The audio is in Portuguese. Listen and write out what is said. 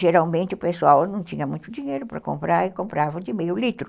geralmente o pessoal não tinha muito dinheiro para comprar e comprava de meio litro.